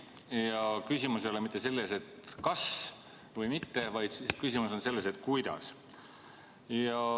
Ja küsimus ei ole mitte selles, kas või mitte, vaid küsimus on selles, kuidas.